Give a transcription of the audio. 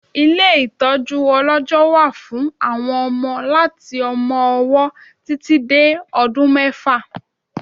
Ilé ìtọjú ọlọjọ wà fún àwọn ọmọ láti ọmọ-ọwọ títì dé ọdún mẹ́fà